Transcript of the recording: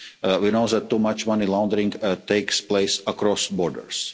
States. We know that too much money laundering takes place across borders.